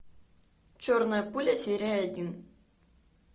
черная пуля серия один